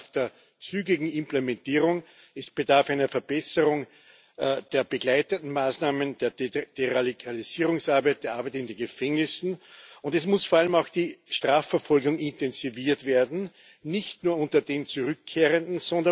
Es bedarf der zügigen Implementierung, es bedarf einer Verbesserung der begleitenden Maßnahmen, der Deradikalisierungsarbeit und der Arbeit in den Gefängnissen, und es muss vor allem auch die Strafverfolgung intensiviert werden, nicht nur unter den Zurückkehrenden.